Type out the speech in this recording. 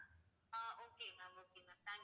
ah okay ma'am okay ma'am, thank~